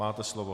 Máte slovo.